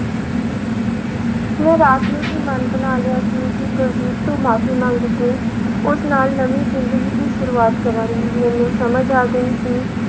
ਮੈਂ ਰਾਤ ਨੂੰ ਹੀ ਮਨ ਬਣਾ ਲਿਆ ਸੀ ਕਿ ਕੁਲਜੀਤ ਤੋਂ ਮਾਫ਼ੀ ਮੰਗ ਕੇ ਉਸ ਨਾਲ ਨਵੀਂ ਜ਼ਿੰਦਗੀ ਦੀ ਸ਼ੁਰੂਆਤ ਕਰਾਂਗੀ, ਮੈਨੂੰ ਸਮਝ ਆ ਗਈ ਸੀ